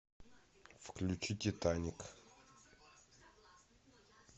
включи титаник